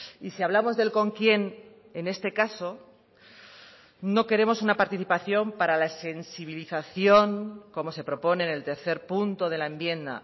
y si hablamos del con quien en este caso no queremos una participación para la sensibilización como se propone en el tercer punto de la enmienda